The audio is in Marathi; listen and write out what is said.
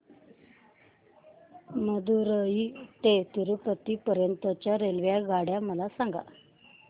मदुरई ते तिरूपती पर्यंत च्या रेल्वेगाड्या मला सांगा